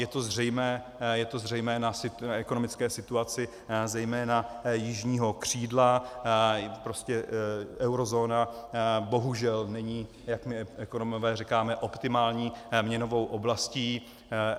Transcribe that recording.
Je to zřejmé na ekonomické situaci, zejména jižního křídla, prostě eurozóna bohužel není, jak my ekonomové říkáme, optimální měnovou oblastí.